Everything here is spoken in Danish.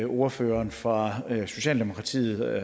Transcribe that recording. ordføreren fra socialdemokratiet